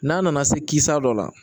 N'a nana se kisa dɔ la